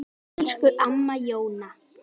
Elsku amma Jóna.